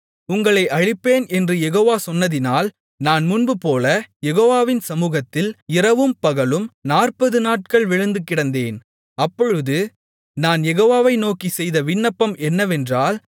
உங்களை அழிப்பேன் என்று யெகோவா சொன்னதினால் நான் முன்புபோல யெகோவாவின் சமுகத்தில் இரவும்பகலும் நாற்பது நாட்கள் விழுந்துகிடந்தேன் அப்பொழுது நான் யெகோவாவை நோக்கிச் செய்த விண்ணப்பம் என்னவென்றால்